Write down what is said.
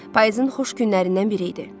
Payızın xoş günlərindən biri idi.